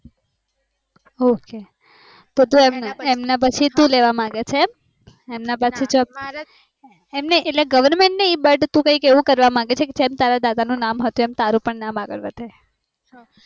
ok તો તું એમના પછી તું લેવા માંગે છે એમ એમના પછી job એમ નઈ, એટલે goverment નઈ but તુ કઈક એવું કરવા માંગે છે કે જેમ તારા દાદા નું નામ હતું એમ તારું પણ નામ આગળ વધે